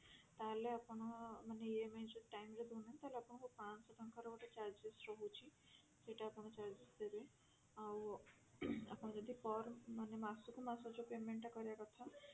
ତାହେଲେ ଆପଣ ମାନେ EMI ଯଦି time ରେ ଦଉନାହାନ୍ତି ତାହେଲେ ଆପଣଙ୍କୁ ପାଂଶହ ଟଙ୍କାର ଗୋଟେ charges ରହୁଛି ସେଇଟା ଆପଣ charges ଦେବେ ଆଉ ଆପଣ ଯଦି per ମାନେ ମାସକୁ ମାସ ଯୋଉ payment ଟା କରିବା କଥା